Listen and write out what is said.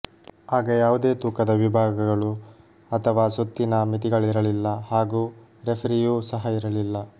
ಆಗ ಯಾವುದೇ ತೂಕದ ವಿಭಾಗಗಳು ಅಥವಾ ಸುತ್ತಿನ ಮಿತಿಗಳಿರಲಿಲ್ಲ ಹಾಗೂ ರೆಫರಿಯೂ ಸಹ ಇರಲಿಲ್ಲ